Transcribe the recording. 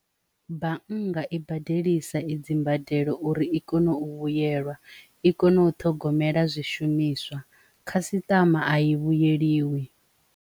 Bannga i badelisa i dzimbadelo uri i kone u vhuyelwa i kone u ṱhogomela zwishumiswa khasitama a i vhuye vhuyeliwi.